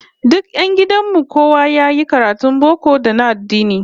Duk 'yan gidan mu kowa yayi karatun boko da na addini